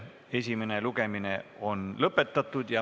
Esimene lugemine on lõppenud.